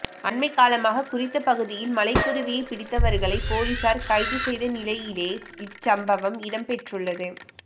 அண்மைகாலமாக குறித்த பகுதியில் மலைக்குருவியைப் பிடித்தவர்களை பொலிஸார் கைது செய்த நிலையிலே இச்சம்பவம் இடம்பெற்றுள்ளது